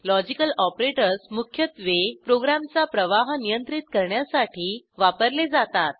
logical operators मुख्यत्वे प्रोग्रॅमचा प्रवाह नियंत्रित करण्यासाठी वापरले जातात